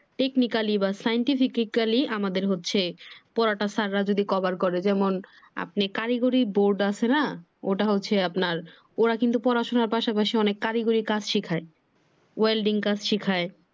technically বা Scientifically আমাদের হচ্ছে পড়াটা স্যাররা যদি কভার করে যেমন আপনি কারিগরি বোর্ড আছে না ওটা হচ্ছে আপনার ওরা কিন্তু পড়াশুনার পাশাপাশি অনেক কারিগরি কাজ শিখায় welding কাজ শিখায়।